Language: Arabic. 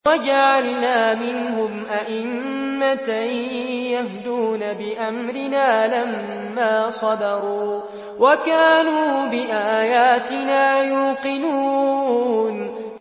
وَجَعَلْنَا مِنْهُمْ أَئِمَّةً يَهْدُونَ بِأَمْرِنَا لَمَّا صَبَرُوا ۖ وَكَانُوا بِآيَاتِنَا يُوقِنُونَ